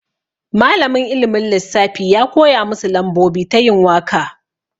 Malamin ilimin lissafi ya koya masu lambobi ta yin waka.